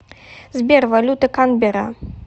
сбер валюта канберра